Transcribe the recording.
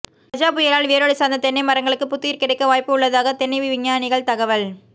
கஜா புயலால் வேரோடு சாய்ந்த தென்னை மரங்களுக்கு புத்துயிர் கிடைக்க வாய்ப்பு உள்ளதாக தென்னை விஞ்ஞானிகள் தகவல்